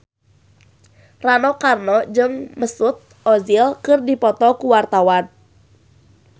Rano Karno jeung Mesut Ozil keur dipoto ku wartawan